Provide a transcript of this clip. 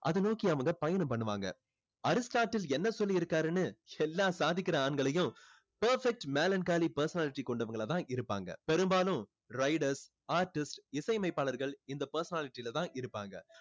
அதை நோக்கி அவங்க பயணம் பண்ணுவாங்க அரிஸ்டாட்டில் என்ன சொல்லி இருக்காருன்னு எல்லா சாதிக்கிற ஆண்களையும் perfect melancholy personality கொண்டவங்களா தான் இருப்பாங்க பெரும்பாலும் riders artists இசை அமைப்பாளர்கள் இந்த personality ல தான் இருப்பாங்க